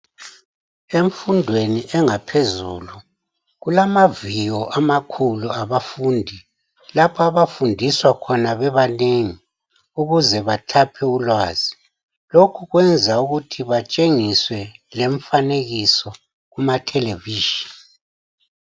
Emfundweni engaphezulu kulamaviyo amakhulu awabafundi lapha abafundiswa khona bebanengi ukuze bathaphe ulwazi. Lokhu kwenza batshengiswe lemifanekiso kumatelevision.